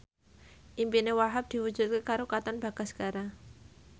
impine Wahhab diwujudke karo Katon Bagaskara